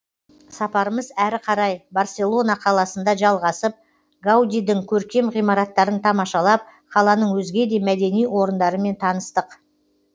сапарымыз әрі қарай барселона қаласында жалғасып гаудидің көркем ғимараттарын тамашалап қаланың өзге де мәдени орындарымен таныстық